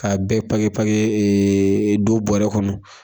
Ka bɛɛ don bɔrɛ kɔnɔ